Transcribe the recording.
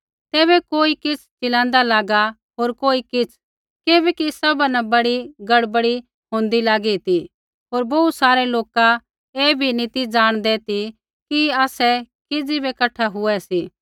तैबै कोई किछ़ चिलाँदा लागा होर कोई किछ़ किबैकि सभा न बड़ी गड़बड़ी होंदै लागी ती होर बोहू सारै लोका ऐ बी नी ती ज़ाणदै ती कि आसै किज़ी बै कठा हुऐ सी